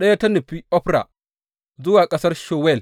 Ɗaya ta nufi Ofra, zuwa ƙasar Shuwal.